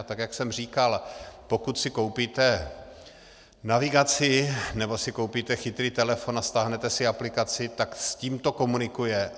A tak jak jsem říkal, pokud si koupíte navigaci nebo si koupíte chytrý telefon a stáhnete si aplikaci, tak s tím to komunikuje.